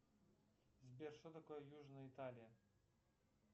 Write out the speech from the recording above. сбер что такое южная италия